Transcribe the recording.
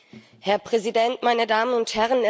Herr Präsident, meine Damen und Herren!